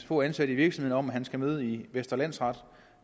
få ansatte i virksomheden skal møde i vestre landsret